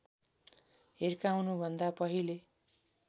हिर्काउनु भन्दा पहिले